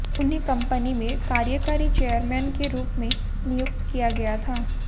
उन्हें कंपनी में कार्यकारी चेयरमैन के रूप में नियुक्त किया गया था